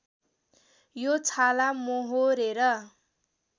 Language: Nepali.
यो छाला मोहोरेर